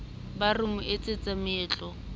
ba ra mo etsetsa meetlo